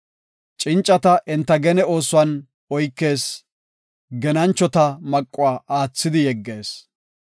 Cincata enta gene oosuwan oykees; genanchota maquwa aathidi yeggees.